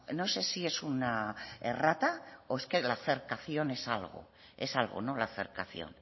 no sé si es una errata o es que la cercación es algo es algo no la cercación